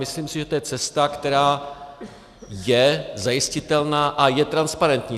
Myslím si, že to je cesta, která je zajistitelná a je transparentní.